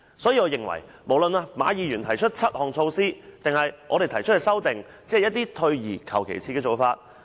所以，我認為無論是馬議員提出的7項措施，或我們提出的修正案，也只是退而求其次的做法。